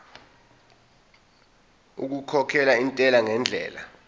okukhokhela intela ngendlela